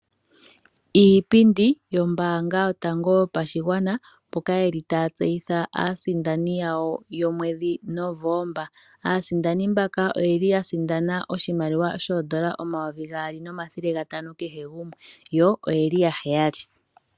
Iipindi yombaanga yotango yo pashigwana mboka yeli taya tseyitha aasindani yomwedhi Novemba. Aasindani mbaka oyeli ya sindana oshimaliwa shoondola N$2500 kehe gumwe, yo oyeli ya 7.